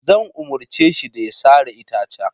Zan umarce shi da ya sare itacen.